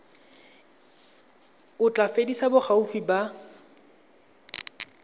o tla fedisa boagi ba